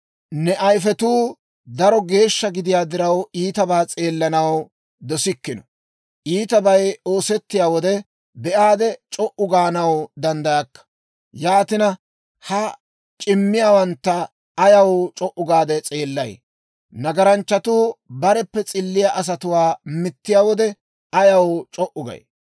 Ne ayifetuu daro geeshsha gidiyaa diraw, iitabaa s'eellanaw dosikkino; iitabay oosettiyaa wode be'aadde c'o"u gaanaw danddayakka. Yaatina, ha c'immiyaawantta ayaw c'o"u gaade s'eellay? Nagaranchchatuu bareppe s'illiyaa asatuwaa mittiyaa wode ayaw c'o"u gay?